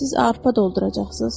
Siz arpa dolduracaqsınız?